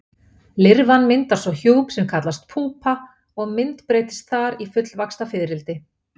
Lirfan myndar svo hjúp sem kallast púpa og myndbreytist þar í fullvaxta fiðrildi.